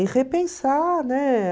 E repensar, né?